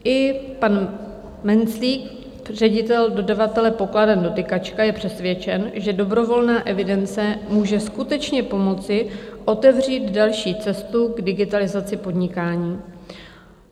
I pan Menclík, ředitel dodavatele pokladen Dotykačka, je přesvědčen, že dobrovolná evidence může skutečně pomoci otevřít další cestu k digitalizaci podnikání.